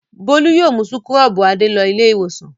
Bólú yóò mú súkúrọ́bù Adé lọ Ilé-ìwòsàn.